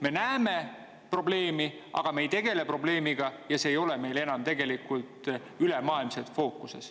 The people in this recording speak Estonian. Me näeme probleemi, aga me ei tegele sellega ja see ei ole meil enam tegelikult ülemaailmselt fookuses.